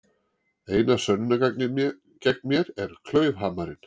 Eina sönnunargagnið gegn mér er klaufhamarinn.